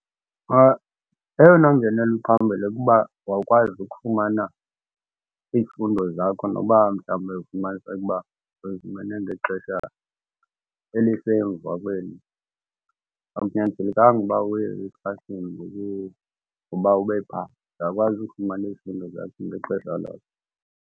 Eyona ngenelo ephambili kuba mawukwazi ukufumana izifundo zakho noba mhlawumbi uye ufumaniseke uba uyifumene ngexesha elisemva kweli. Akunyanzelekanga uba uye eklasini uba ube pha uyakwazi ukufumana izifundo zakho ngexesha kakho